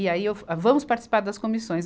E aí eu, vamos participar das comissões.